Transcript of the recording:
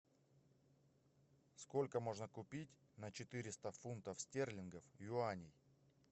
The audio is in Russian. сколько можно купить на четыреста фунтов стерлингов юаней